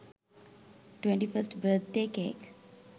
21st birthday cake